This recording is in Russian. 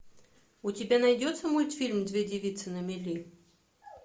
у тебя найдется мультфильм две девицы на мели